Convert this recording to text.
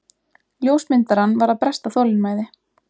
Ljósmyndarann var að bresta þolinmæði.